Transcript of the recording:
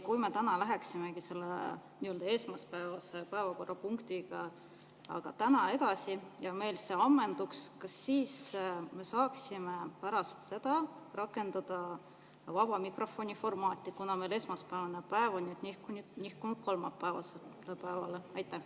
Kui me läheksime täna selle esmaspäevase päevakorrapunktiga edasi ja meil see ammenduks, kas me siis pärast seda saaksime rakendada vaba mikrofoni formaati, kuna meil esmaspäevane päev on nihkunud kolmapäevasele päevale?